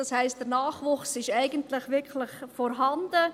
Das heisst, der Nachwuchs ist eigentlich wirklich vorhanden.